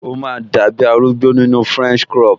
O máa dàbi arúgbó nínu french crop